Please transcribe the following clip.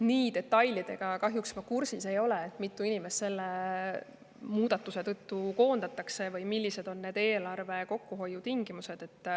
Ma kahjuks ei ole kursis detailidega, mitu inimest selle muudatuse tõttu koondatakse või millised on eelarve kokkuhoiu tingimused.